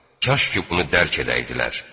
Kaş ki bunu dərk edəydilər.